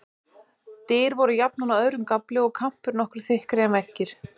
Dyr voru jafnan á öðrum gafli, og kampur nokkru þykkri en veggir.